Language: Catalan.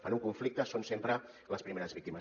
en un conflicte són sempre les primeres víctimes